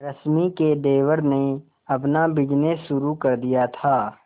रश्मि के देवर ने अपना बिजनेस शुरू कर दिया था